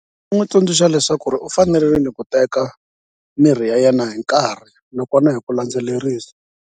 N'wi tsundzuxa leswaku ri u fanerile ku teka mirhi ya yena hi nkarhi nakona hi ku landzelerisa.